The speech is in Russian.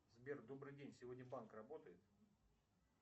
сбер добрый день сегодня банк работает